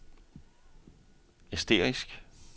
asterisk